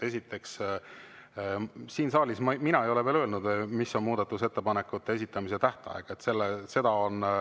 Esiteks, siin saalis mina ei ole veel öelnud, mis on muudatusettepanekute esitamise tähtaeg.